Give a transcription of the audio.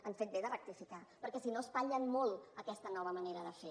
han fet bé de rectificar perquè si no espatllen molt aquesta nova manera de fer